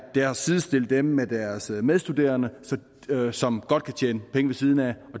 er at sidestille dem med deres medstuderende som godt kan tjene penge ved siden af